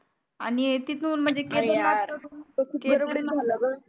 आणि तिथून म्हनजे केदारना गडबडीने झाला ग